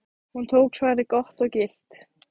Hún tók svarið gott og gilt.